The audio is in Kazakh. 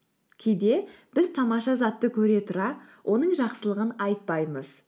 кейде біз тамаша затты көре тұра оның жақсылығын айтпаймыз